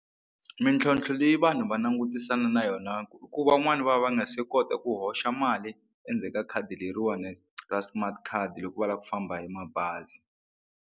Mintlhontlho leyi vanhu va langutisana na yona ku i ku van'wani va va nga se kota ku hoxa mali endzeni ka khadi leriwani ra smart card loko va lava ku famba hi mabazi.